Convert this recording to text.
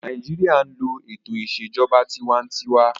Nàìjíríyà n lo ètò ìṣèjọba tinwatinwa